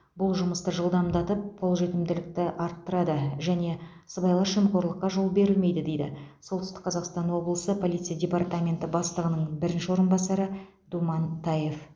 бұл жұмысты жылдамдатып қолжетімділікті арттырады және сыбайлас жемқорлыққа жол берілмейді дейді солтүстік қазақстан облысы полиция департаменті бастығының бірінші орынбасары думан таев